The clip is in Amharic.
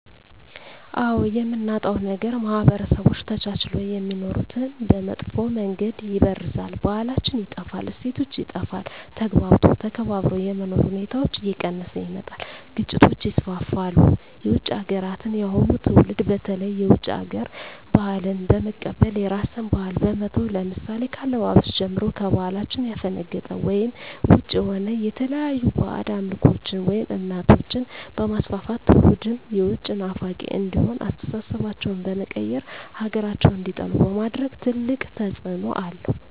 አዎ የምናጣዉ ነገር ማህበረሰቦች ተቻችለዉ የሚኖሩትን በመጥፋ መንገድ ይበርዛል ባህላችን ይጠፋል እሴቶች ይጠፋል ተግባብቶ ተከባብሮ የመኖር ሁኔታዎች እየቀነሰ ይመጣል ግጭቶች ይስፍፍሉ የዉጭ ሀገራትን የአሁኑ ትዉልድ በተለይ የዉጭ ሀገር ባህልን በመቀበል የራስን ባህል በመተዉ ለምሳሌ ከአለባበስጀምሮ ከባህላችን ያፈነቀጠ ወይም ዉጭ የሆነ የተለያዩ ባእጅ አምልኮችን ወይም እምነቶችንበማስፍፍት ትዉልዱም የዉጭ ናፋቂ እንዲሆን አስተሳሰባቸዉ በመቀየር ሀገራቸዉን እንዲጠሉ በማድረግ ትልቅ ተፅዕኖ አለዉ